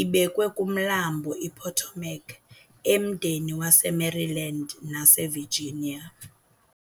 ibekwe kuMlambo iPotomac emdeni waseMaryland naseVirginia.